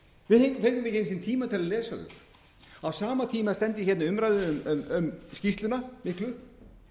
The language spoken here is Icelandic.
við fengum ekki einu sinni tíma til að lesa þau á sama tíma stend ég hérna í umræðu um skýrsluna miklu